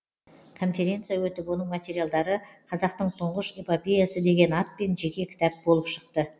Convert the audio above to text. конференция өтіп оның материалдары қазақтың тұңғыш эпопеясы деген атпен жеке кітап болып шықты